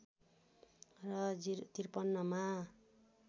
र ०५३ मा